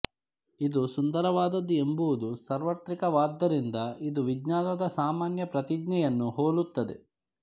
ಇದು ಸುಂದರವಾದದ್ದು ಎಂಬುದು ಸಾರ್ವತ್ರಿಕವಾದ್ದರಿಂದ ಇದು ವಿಜ್ಞಾನದ ಸಾಮಾನ್ಯ ಪ್ರತಿಜ್ಞೆಯನ್ನು ಹೋಲುತ್ತದೆ